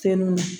Fɛn ninnu na